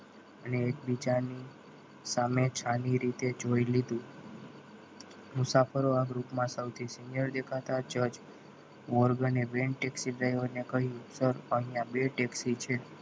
અને એકબીજાની સામે છાની રીતે જોઈ લીધું મુસાફરો આ group માં સૌથી senior દેખાતા જજ મોર્ગ અને વેંતી ફેંદરે ને કહ્યું સર અહીંયા બે taxi છે.